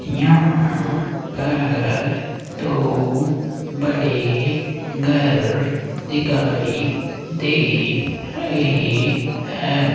यहां पर दो बड़े घर दिखाई दे रहे हैं।